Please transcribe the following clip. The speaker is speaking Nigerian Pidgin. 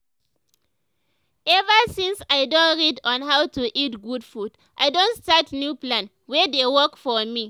ever since i don read on how to to eat good food i don start new plan wey dey work for me